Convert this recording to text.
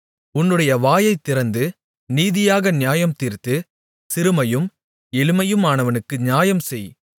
உன்னுடைய வாயைத் திறந்து நீதியாக நியாயம் தீர்த்து சிறுமையும் எளிமையுமானவனுக்கு நியாயம் செய்